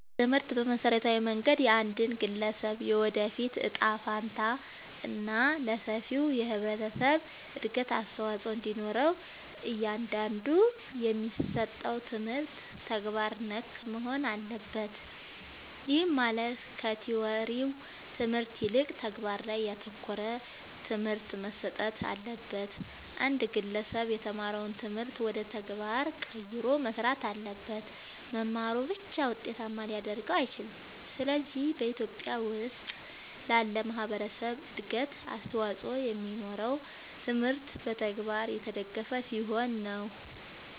ትምህርት በመሠረታዊ መንገድ የአንድን ግለሠብ የወደፊት እጣ ፈንታ እና ለሠፊው የህብረተሠብ እድገት አስተዋፅኦ እንዲኖረው እያንዳንዱ የሚሠጠው ትምህርት ተግባር ነክ መሆን አለበት። ይህም ማለት ከቲወሪው ትምህርት ይልቅ ተግባር ላይ ያተኮረ ትምህርት መሠጠት አለበት። አንድ ግለሠብ የተማረውን ትምህርት ወደ ተግባር ቀይሮ መሥራት አለበት። መማሩ ብቻ ውጤታማ ሊያደርገው አይችልም። ስለዚህ በኢትዮጲያ ውስጥ ላለ ማህበረሠብ እድገት አስተዋፅኦ የሚኖረው ትምህርቱ በተግባር የተደገፈ ሲሆን ነው።